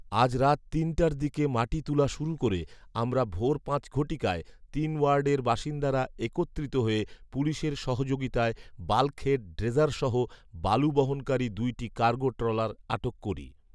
আজ রাত তিনটার দিকে মাটি তুলা শুরু করে আমরা ভোর পাঁচ ঘটিকায় তিন ওয়ার্ডের বাসিন্দারা একত্রিত হয়ে পুলিশের সহযোগিতায় বাল্কহেড ড্রেজারসহ বালু বহনকারী দুইটি কার্গো ট্রলার আটক করি